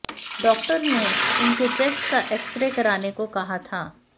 doctor ने उनके chest का एक्सरे कराने को कहा था